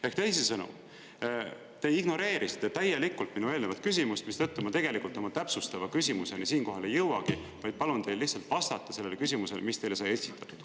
Ehk teisisõnu, te ignoreerisite täielikult minu eelnevat küsimust, mistõttu ma tegelikult oma täpsustava küsimuseni siinkohal ei jõuagi, vaid palun teil lihtsalt vastata sellele küsimusele, mis teile sai esitatud.